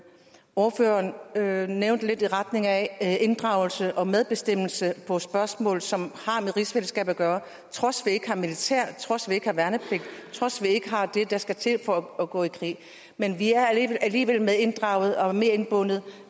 ordføreren nævnte lidt i retning af inddragelse og medbestemmelse på spørgsmål som har med rigsfællesskabet at gøre trods vi ikke har militær trods vi ikke har værnepligt trods vi ikke har det der skal til for at gå i krig men vi er alligevel medinddraget og medindbundet